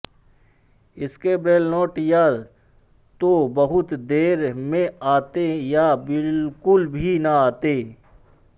उसके Braille note या तो बहुत देर में आते या बिल्कुल भी ना आते